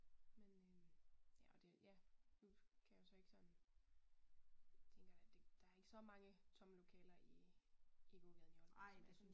Men øh ja og det ja nu kan jeg jo så ikke sådan tænker da det der ikke så mange tomme lokaler i i gågaden i Aalborg